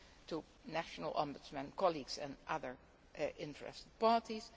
open to national ombudsmen, colleagues and other interested